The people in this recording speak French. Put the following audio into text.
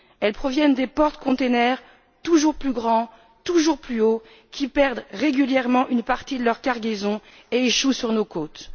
Elles proviennent des porte conteneurs toujours plus grands, toujours plus hauts, qui perdent régulièrement une partie de leur cargaison et échouent sur nos côtes.